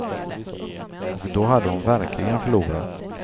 Och då hade hon verkligen förlorat.